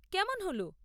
কেমন হল?